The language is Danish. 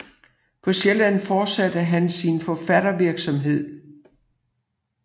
På Sjælland fortsatte han sin forfattervirksomhed